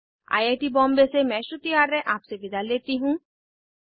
I I T Bombay से मैं श्रुति आर्य आपसे विदा लेती हूँ